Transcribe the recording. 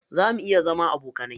Zamu iya zama abokanai?